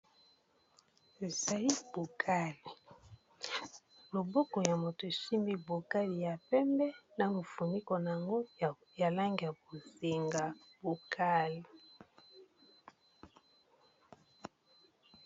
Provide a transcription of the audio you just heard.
Ezali bokali loboko ya moto esimbi bokali ya pembe na mufuniko na yango ya langi ya bozenga bokali.